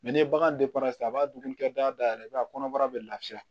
ni bagan a b'a dumuni kɛ dayɛlɛ i b'a ye a kɔnɔbara bɛ lafiya